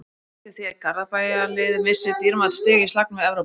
Það er hætt við því að Garðabæjarliðið missi dýrmæt stig í slagnum um Evrópusæti.